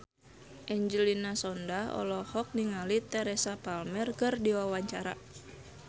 Angelina Sondakh olohok ningali Teresa Palmer keur diwawancara